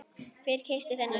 Hver keypti þennan hring?